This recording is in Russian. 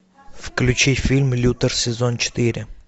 включи фильм лютер сезон четыре